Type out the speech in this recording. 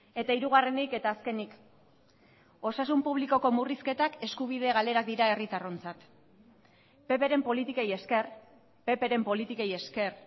eta hirugarrenik eta azkenik osasun publikoko murrizketak eskubide galerak dira herritarrontzat pp ren politikei esker pp ren politikei esker